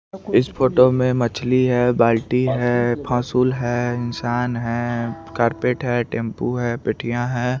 इस फोटो में मछली है बाल्टी है फसुल है इंशान है कार्पेट है टेम्पू है पटिया है।